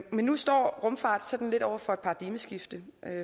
men nu står rumfart sådan lidt over for et paradigmeskifte